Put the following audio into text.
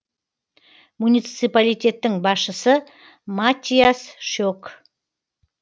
муниципалитеттің басшысы маттиас шек